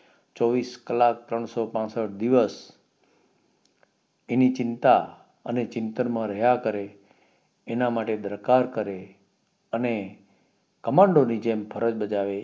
ચોવીસ કલ્લાક ત્રણસો પાંસઠ દિવસ એની ચિંતા અને ચિંતામ માં રહ્યા કરે એના માટે દરકાર કરે અને commando ની જેમ ફરજ બજાવે એવી એક